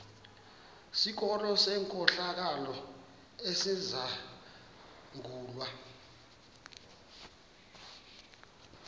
sikolo senkohlakalo esizangulwa